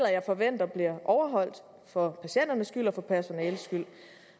jeg forventer bliver overholdt for patienternes skyld og personalets skyld